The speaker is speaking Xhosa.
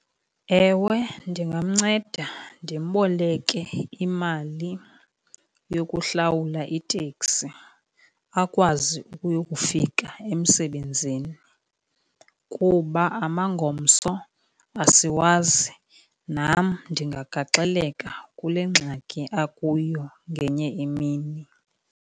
Ewe, ndingamceda ndimboleke imali yokuhlawula iteksi akwazi ukuyokufika emsebenzini kuba amangomso asiwazi. Nam ndingagaxeleka kule ngxaki akuyo ngenye imini.